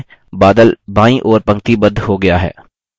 बादल बायीं ओर पंक्तिबद्ध हो गया है